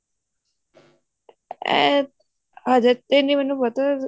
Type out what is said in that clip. ਅਮ ਹਜੇ ਤੇ ਨੀ ਮੈਨੂੰ ਪਤਾ